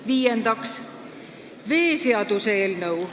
Viiendaks, veeseaduse eelnõu.